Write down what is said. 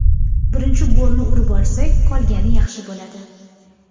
Birinchi golni urib olsak, qolgani yaxshi bo‘ladi.